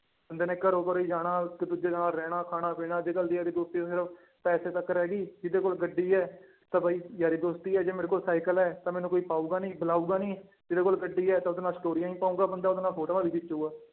ਬੰਦੇ ਨੇ ਘਰੋਂ ਘਰੀ ਜਾਣਾ ਇੱਕ ਦੂਜੇ ਨਾਲ ਰਹਿਣਾ ਖਾਣਾ ਪੀਣਾ, ਅੱਜ ਕੱਲ੍ਹ ਦੀ ਯਾਰੀ ਦੋਸਤੀ ਤਾਂ ਸਿਰਫ਼ ਪੈਸੇ ਤੱਕ ਰਹਿ ਗਈ ਜਿਹਦੇ ਕੋਲ ਗੱਡੀ ਹੈ ਤਾਂ ਬਈ ਯਾਰੀ ਦੋਸਤੀ ਹੈ ਜੇ ਮੇਰੇ ਕੋਲ ਸਾਇਕਲ ਹੈ ਤਾਂ ਮੈਨੂੰ ਕੋਈ ਪਾਊਗਾ ਨੀ ਬੁਲਾਊਗਾ ਨੀ ਜਿਹਦੇ ਕੋਲ ਗੱਡੀ ਹੈੈ ਤਾਂ ਉਹਦੇ ਨਾਲ ਸਟੋਰੀਆਂ ਵੀ ਪਾਊਗਾ ਬੰਦਾ ਉਹਦੇ ਨਾਲ ਫੋਟੋਆਂ ਵੀ ਖਿਚੇਗਾ।